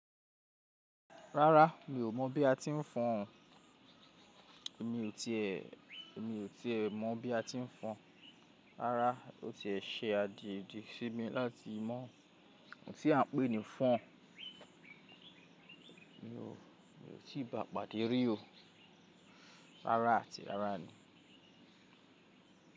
Rárá, mi ò mọ̀ bí àti ń fọn o. Èmi o ti è, èmi o ti è mọ̀ bí a ti ń fọn. Rárá, o tiẹ̀ ṣe àgegì sí mi láti mọ ohun tí à ń pè ní fọn. Mi o, mi o ti ba pàdé rí o. Rárá àti rárá ni.